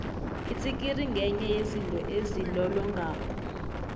itsikiri ngenye yezinto ezilolongako